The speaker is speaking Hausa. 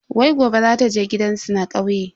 Wai gobe zata je gidansu na kauye.